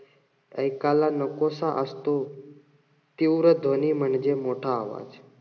एकाला नकोसा असतो. तीव्र ध्वनी म्हणजे मोठा आवाज.